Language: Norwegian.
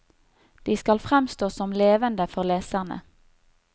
De skal fremstå som levende for leserne.